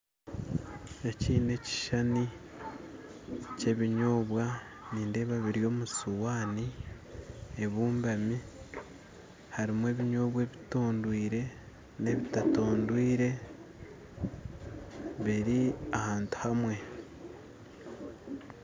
Eki na ekishisani kya ebinyobwa nindeeba biri omu sowani ebumbami harimu ebinyobwa ebitondwire na ebitatondwire biri ahantu hamwe